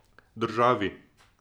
Državi.